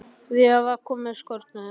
Vigdís var komin fram á skörina.